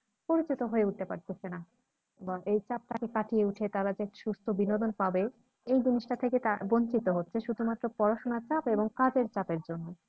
পরিচিত হয়ে উঠতে পারতেছে না এবং এই চাপ তাকে কাটিয়ে উঠে তারা যে সুস্থ বিনোদন পাবে এই জিনিসটা থেকে তারা বঞ্চিত হচ্ছে শুধুমাত্র পড়াশোনার চাপ এবং কাজের চাপ এর জন্য